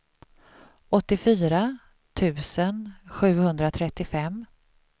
åttiofyra tusen sjuhundratrettiofem